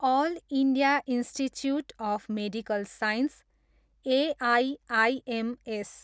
all India institute of medical science, AIIMS